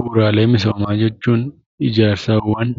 Bu'uuraalee misoomaa jechuun ijaarsawwan